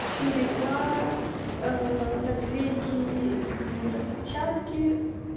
черепа наклейки и распечатки